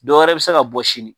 Dɔ wɛrɛ bɛ se ka bɔ sini.